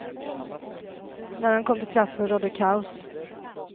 När den kom till platsen rådde kaos.